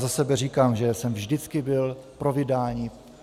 Za sebe říkám, že jsem vždycky byl pro vydání.